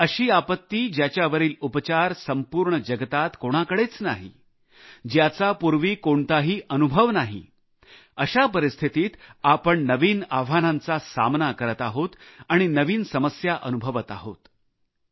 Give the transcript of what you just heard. एक अशी आपत्ती ज्याच्यावरील उपचार संपूर्ण जगात कोणाकडेच नाही ज्याचा पूर्वी कोणताही अनुभव नाही अशा परिस्थितीत आपण नवीन आव्हानांचा सामना करत आहोत आणि नवीन समस्या अनुभवत आहोत